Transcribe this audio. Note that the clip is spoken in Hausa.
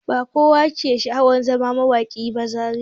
Ba kowa ke sha'awan zama mawaƙi ba Zariya.